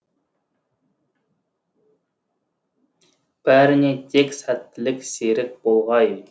бәріне тек сәттілік серік болғай